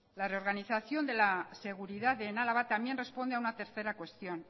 la reorganización de la seguridad en álava también responde a una tercera cuestión